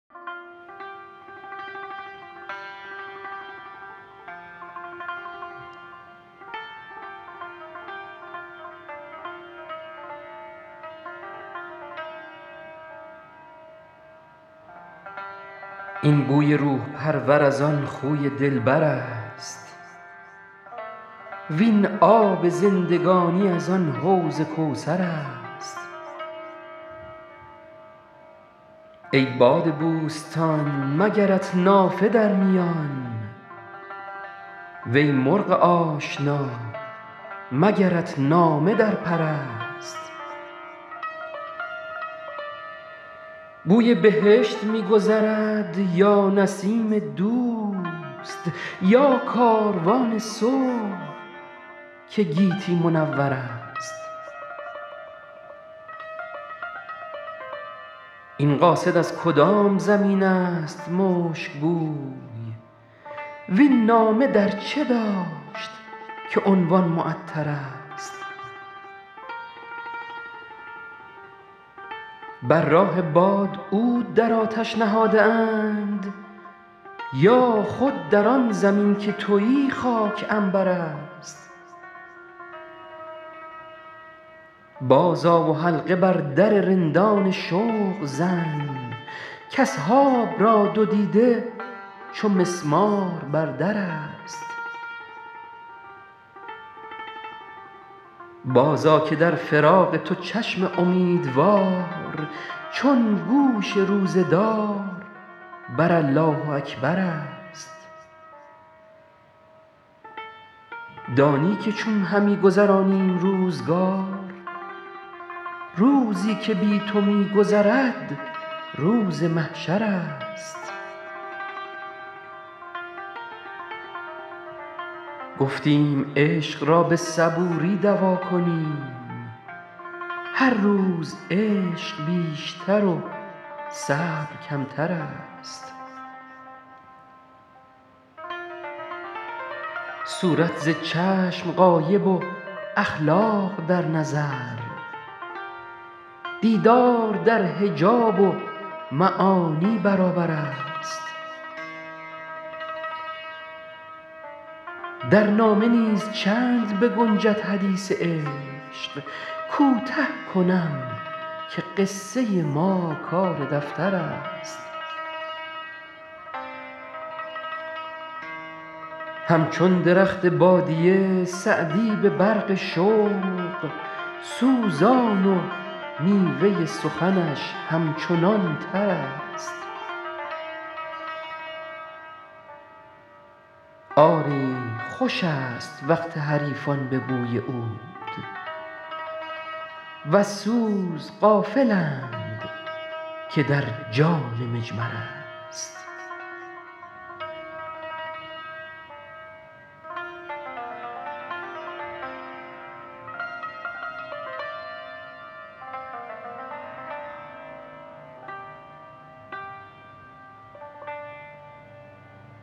این بوی روح پرور از آن خوی دلبر است وین آب زندگانی از آن حوض کوثر است ای باد بوستان مگرت نافه در میان وی مرغ آشنا مگرت نامه در پر است بوی بهشت می گذرد یا نسیم دوست یا کاروان صبح که گیتی منور است این قاصد از کدام زمین است مشک بوی وین نامه در چه داشت که عنوان معطرست بر راه باد عود در آتش نهاده اند یا خود در آن زمین که تویی خاک عنبر است بازآ و حلقه بر در رندان شوق زن کاصحاب را دو دیده چو مسمار بر در است بازآ که در فراق تو چشم امیدوار چون گوش روزه دار بر الله اکبر است دانی که چون همی گذرانیم روزگار روزی که بی تو می گذرد روز محشر است گفتیم عشق را به صبوری دوا کنیم هر روز عشق بیشتر و صبر کمتر است صورت ز چشم غایب و اخلاق در نظر دیدار در حجاب و معانی برابر است در نامه نیز چند بگنجد حدیث عشق کوته کنم که قصه ما کار دفتر است همچون درخت بادیه سعدی به برق شوق سوزان و میوه سخنش همچنان تر است آری خوش است وقت حریفان به بوی عود وز سوز غافلند که در جان مجمر است